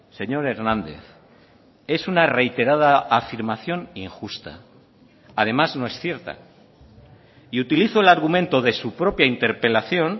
señor hernández es una reiterada afirmación injusta además no es cierta y utilizo el argumento de su propia interpelación